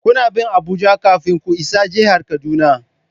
Kuna bin Abuja kafin ku isa jihar Kaduna.